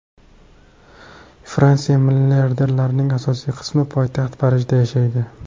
Fransiya milliarderlarining asosiy qismi poytaxt Parijda yashaydi.